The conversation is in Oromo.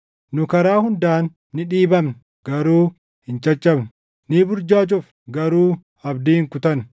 Nu karaa hundaan ni dhiibamna; garuu hin caccabnu; ni burjaajofna; garuu abdii hin kutannu;